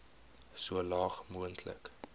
so laag moontlik